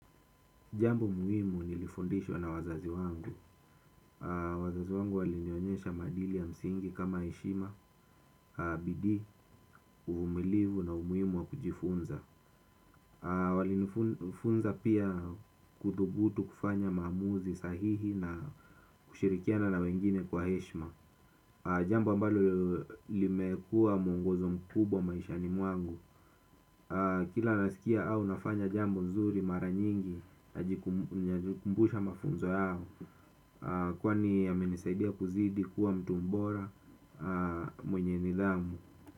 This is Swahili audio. Jambo muhimu nilifundishwa na wazazi wangu. Wazazi wangu walinionyesha maadili ya msingi kama heshima, bidii, uvumilivu na umuhimu wa kujifunza. Walinifunza pia kuthubutu kufanya maamuzi sahihi na kushirikiana na wengine kwa heshima. Jambo ambalo limekuwa mwongozo mkubwa maishani mwangu. Kila nasikia au nafanya jambo nzuri mara nyingi najikumbusha mafunzo yao. Kwani amenisaidia kuzidi kuwa mtu mbora mwenye nidhamu.